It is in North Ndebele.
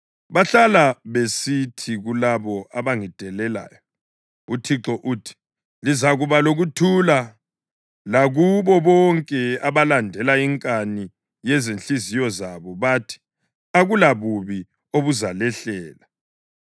Bahlala besithi kulabo abangidelelayo, ‘ UThixo uthi: Lizakuba lokuthula.’ Lakubo bonke abalandela inkani yezinhliziyo zabo bathi, ‘Akulabubi obuzalehlela.’